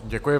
Děkuji.